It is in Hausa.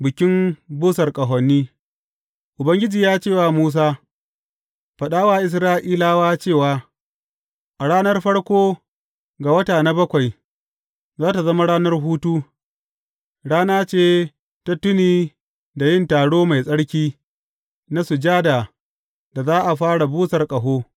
Bikin busar ƙahoni Ubangiji ya ce wa Musa, Faɗa wa Isra’ilawa cewa, A ranar farko ga wata na bakwai, za tă zama ranar hutu, rana ce ta tuni da yin taro mai tsarki na sujada da za a fara busar ƙaho.